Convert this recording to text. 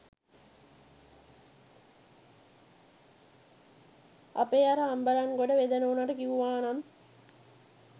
අපේ අර අම්බලන්ගොඩ වෙද නෝනට කිව්ව නම්